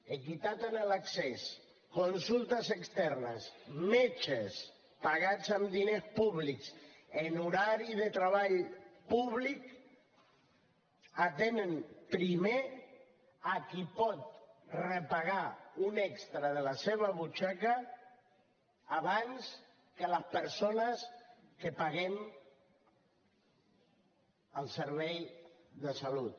equitat en l’accés consultes externes metges pagats amb diners públics en horari de treball públic atenen primer a qui pot repagar un extra de la seva butxaca abans que les persones que paguem el servei de salut